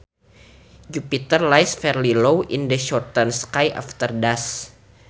Jupiter lies fairly low in the southern sky after dusk